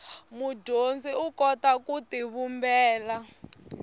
mudyondzi u kota ku tivumbela